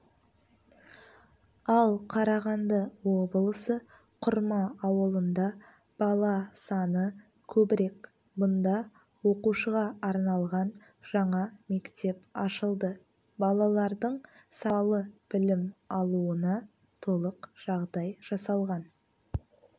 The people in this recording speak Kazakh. ал қарағанды облысы құрма ауылында бала саны көбірек бұнда оқушыға арналған жаңа мектеп ашылды балалардың сапалы білім алуына толық жағдай жасалған